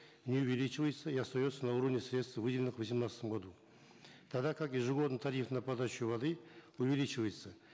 не увеличивается и остается на уровне средств выделенных в восемнадцатом году тогда как ежегодный тариф на подачу воды увеличивается